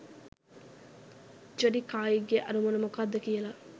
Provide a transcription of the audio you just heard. ජෙඩිකායිගේ අරමුණ මොකද්ද කියලා.